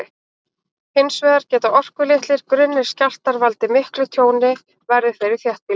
Hins vegar geta orkulitlir, grunnir skjálftar valdið miklu tjóni, verði þeir í þéttbýli.